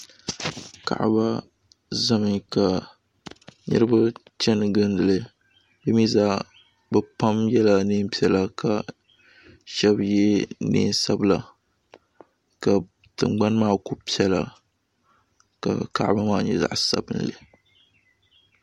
Kaaba zami ka niriba chani gindili bɛ mi zaa bɛ pam yela neen' piɛla ka shɛba ye neen' sabila ka tiŋgbani maa kuli piɛla ka Kaaba maa nyɛ zaɣ' sabinli.